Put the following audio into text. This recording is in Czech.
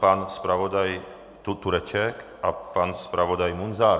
Pan zpravodaj Tureček a pan zpravodaj Munzar?